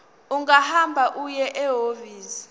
ungahamba uye ehhovisi